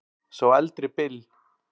Sá eldri Bill.